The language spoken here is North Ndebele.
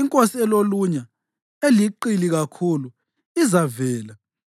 inkosi elolunya, eliqili kakhulu, izavela.